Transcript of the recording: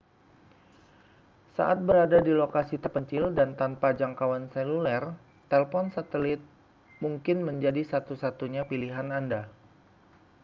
saat berada di lokasi terpencil dan tanpa jangkauan seluler telepon satelit mungkin menjadi satu-satunya pilihan anda